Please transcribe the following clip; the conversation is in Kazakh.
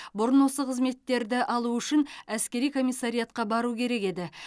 бұрын осы қызметтерді алу үшін әскери комиссариатқа бару керек еді